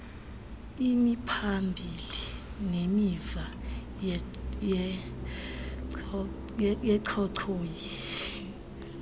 imiphambili nemiva yenchochoyi